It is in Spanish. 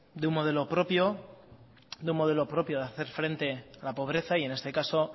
de un modelo propio de hacer frente a la pobreza y en este caso